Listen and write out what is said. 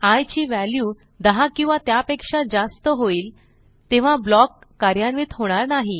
I ची value 10 किंवा त्यापेक्षा जास्त होईल तेव्हा ब्लॉक कार्यान्वित होणार नाही